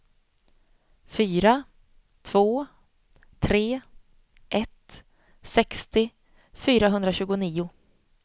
fyra två tre ett sextio fyrahundratjugonio